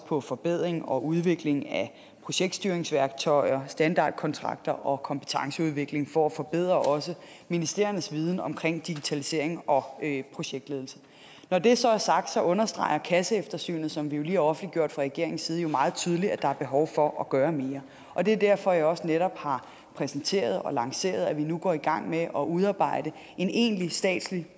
på forbedring og udvikling af projektstyringsværktøjer standardkontrakter og kompetenceudvikling for at forbedre ministeriernes viden om digitalisering og projektledelse når det så er sagt understreger kasseeftersynet som vi lige har offentliggjort fra regeringens side jo meget tydeligt at der er behov for at gøre mere og det er derfor jeg også netop har præsenteret og lanceret at vi nu går i gang med at udarbejde en egentlig statslig